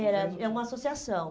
Era, é uma associação.